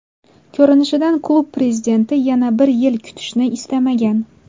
Ko‘rinishidan klub prezidenti yana bir yil kutishni istamagan.